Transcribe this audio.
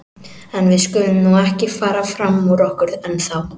En við skulum nú ekki fara fram úr okkur ennþá.